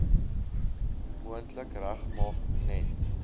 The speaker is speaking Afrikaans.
moontlik regmaak net